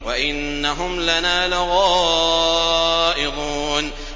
وَإِنَّهُمْ لَنَا لَغَائِظُونَ